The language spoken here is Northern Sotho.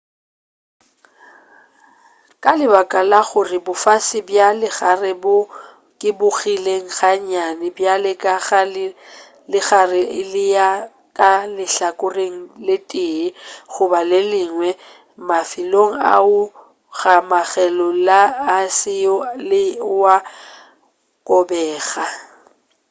ka lebaka la gore bofase bja legare bo kobegile ga nnyane bjale ka ge legare le eya ka lehlakoreng le tee goba le lengwe mafelelo ao a kgomanego le aese le wo a kobega